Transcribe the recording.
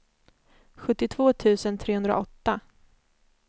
sjuttiotvå tusen trehundraåtta